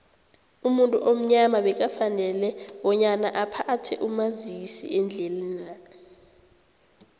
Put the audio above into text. umuntu omnyama bekafanele bonyana aphathe umazisiendlelani